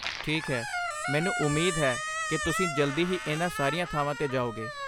ਠੀਕ ਹੈ, ਮੈਨੂੰ ਉਮੀਦ ਹੈ ਕਿ ਤੁਸੀਂ ਜਲਦੀ ਹੀ ਇਹਨਾਂ ਸਾਰੀਆਂ ਥਾਵਾਂ 'ਤੇ ਜਾਓਗੇ।